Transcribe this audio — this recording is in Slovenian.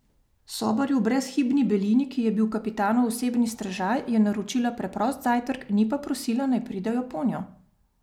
Sobarju v brezhibni belini, ki je bil kapitanov osebni strežaj, je naročila preprost zajtrk, ni pa prosila, naj pridejo ponjo.